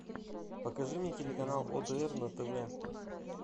покажи мне телеканал отр на тв